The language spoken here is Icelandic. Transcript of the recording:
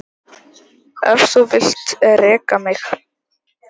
Ef þú vilt reka mig?